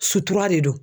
Sutura de do